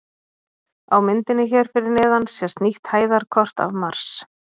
Á myndinni hér fyrir neðan sést nýtt hæðarkort af Mars.